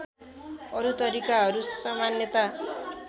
अरु तरिकाहरू सामान्यत